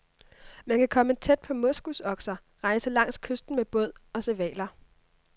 Man kan komme tæt på moskusokser, rejse langs kysten med båd og se hvaler.